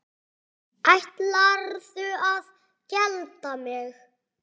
Ætlarðu að gelda mig?